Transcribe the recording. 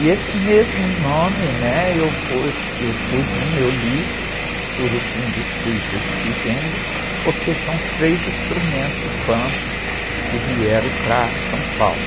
E esse mesmo nome, né? Eu pus no meu livro, rucungos, Puitas e Quijengues, porque são três instrumentos bantus que vieram para São Paulo.